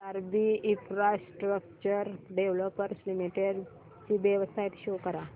IRB infrastructure developers limited ची website show करा